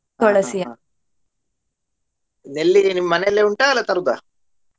ನೆಲ್ಲಿಗಿಡ ನಿಮ್ಮ ಮನೆಯಲ್ಲೇ ಉಂಟ ಅಲ್ಲ ತರುದಾ?